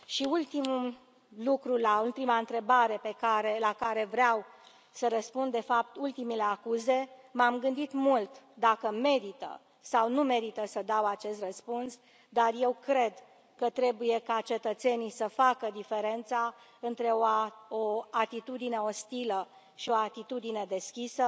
Ultimul lucru la ultima întrebare la care vreau să răspund de fapt, ultimele acuze m am gândit mult dacă merită sau nu merită să dau acest răspuns, dar eu cred că trebuie ca cetățenii să facă diferența între o atitudine ostilă și o atitudine deschisă.